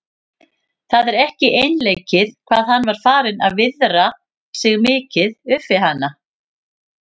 Það var ekki einleikið hvað hann var farinn að viðra sig mikið upp við hana.